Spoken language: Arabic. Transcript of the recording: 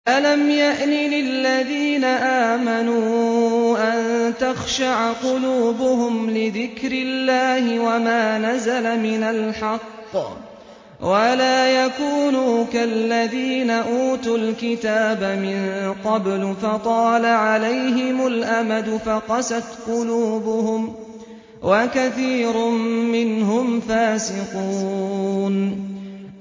۞ أَلَمْ يَأْنِ لِلَّذِينَ آمَنُوا أَن تَخْشَعَ قُلُوبُهُمْ لِذِكْرِ اللَّهِ وَمَا نَزَلَ مِنَ الْحَقِّ وَلَا يَكُونُوا كَالَّذِينَ أُوتُوا الْكِتَابَ مِن قَبْلُ فَطَالَ عَلَيْهِمُ الْأَمَدُ فَقَسَتْ قُلُوبُهُمْ ۖ وَكَثِيرٌ مِّنْهُمْ فَاسِقُونَ